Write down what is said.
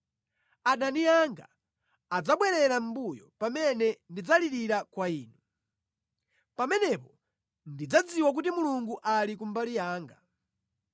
Adani anga adzabwerera mʼmbuyo pamene ndidzalirira kwa Inu. Pamenepo ndidzadziwa kuti Mulungu ali ku mbali yanga.